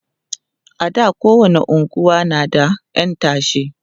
a da kowani unguwa na da ƴan tashe